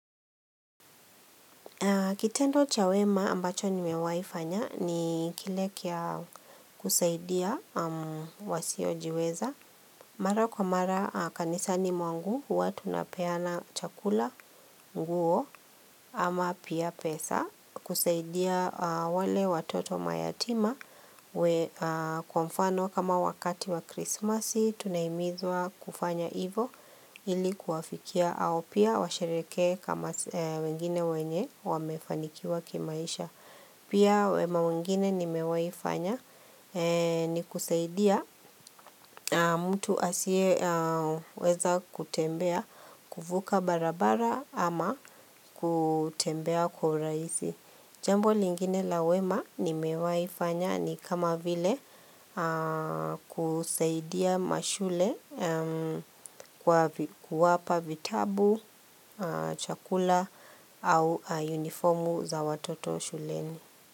Kitendo cha wema ambacho nimewahikifanya ni kile cha kusaidia wasiojiweza Mara kwa mara kanisani mwangu, huwa tunapeana chakula, nguo, ama pia pesa kusaidia wale watoto mayatima, kwa mfano kama wakati wa krismasi Tunahimizwa kufanya hivyo ili kuwafikia hao pia washerehekee, kama wengine wenye wamefanikiwa kimaisha Pia wema mwingine nimewahi fanya ni kusaidia mtu asiyeweza kutembea kuvuka barabara ama kutembea kwa urahisi Jambo lingine la wema ni mewahifanya, ni kama vile kusaidia mashule kwa kuwapa vitabu, chakula au uniformu za watoto shuleni.